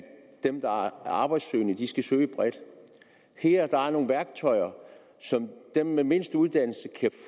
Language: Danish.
dem der er arbejdssøgende skal søge bredt her er der nogle værktøjer som dem med mindst uddannelse kan